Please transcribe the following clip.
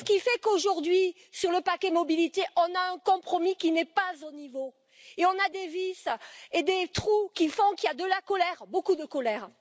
C'est ce qui fait qu'aujourd'hui, sur le paquet mobilité, nous avons un compromis qui n'est pas au niveau et nous avons des vices et des trous qui font qu'il y a de la colère, beaucoup de colère.